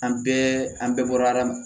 An bɛɛ an bɛɛ bɔra adama